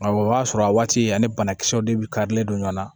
Awɔ o b'a sɔrɔ a waati ani banakisɛw de bi karilen don ɲɔgɔn na